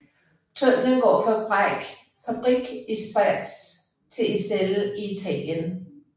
Tunnellen går fra Brig i Schweiz til Iselle i Italien